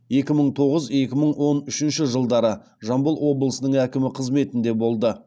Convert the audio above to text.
екі мың тоғыз екі мың он үшінші жылдары жамбыл облысының әкімі қызметіннде болды